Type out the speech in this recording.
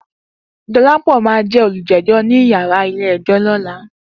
Dolapo ló má jè ólújèjò ni iyàrá ilé èjò lòlá